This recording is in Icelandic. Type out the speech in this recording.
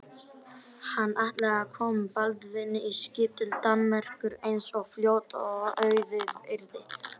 Hann þyrfti að staldra við í að minnsta kosti hálftíma enn.